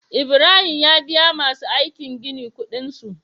Ibrahim ya biya masu aikin gini Ƙudin su